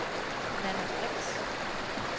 Nanna Brix